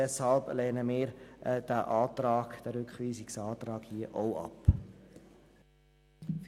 Deshalb lehnen wir diesen Rückweisungsantrag ab.